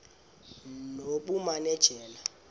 nobumanejala